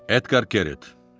Edgar Keret.